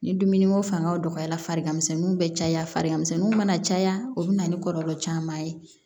Ni dumuni ko fanga dɔgɔyara farikaninw bɛ caya farimisɛnninw mana caya o bɛ na ni kɔlɔlɔ caman ye